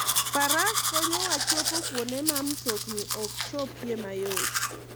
Faras konyowa chopo kuonde ma mtokni ok chopie mayot.